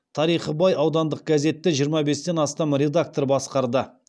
тарихы бай аудандық газетті жиырма бестен астам редактор басқарды